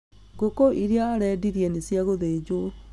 Ngũkũ iria arendirie nĩ cia gũthinjwo